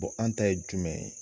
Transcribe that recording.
an ta ye jumɛn ye?